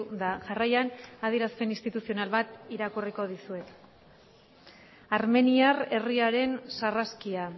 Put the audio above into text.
da jarraian adierazpen instituzional bat irakurri dizuet armeniar herriaren sarraskia